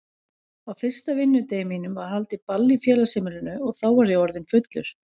Á fyrsta vinnudegi mínum var haldið ball í félagsheimilinu og þá var ég orðinn fullur.